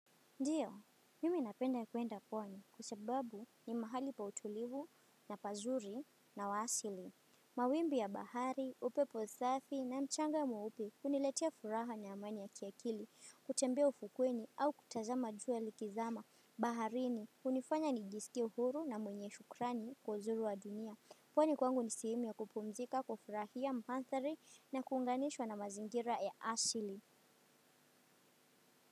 Ndiyo, mimi napenda kuenda puani kua sababu ni mahali pa utulivu na pazuri na wasili. Mawimbi ya bahari, upeposafi na mchanga mweupe uniletea furaha na amani ya kiakili, kutembea ufukweni au kutazama juwa likizama. Baharini, unifanya nijisikie uhuru na mwenye shukrani kwa uzuri wa dunia. Kwani kwangu ni sehemu ya kupumzika, kufurahia manthari na kuunganishwa na mazingira ya asili.